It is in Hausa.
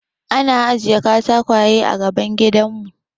An ajiye katakwaye a gaban gidanmu.